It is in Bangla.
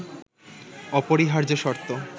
অপরিহার্য শর্ত